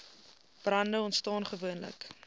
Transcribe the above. brande ontstaan gewoonlik